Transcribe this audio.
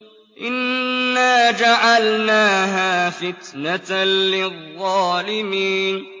إِنَّا جَعَلْنَاهَا فِتْنَةً لِّلظَّالِمِينَ